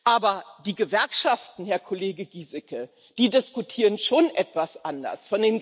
Aber die Gewerkschaften, Herr Kollege Gieseke, die diskutieren schon etwas anders.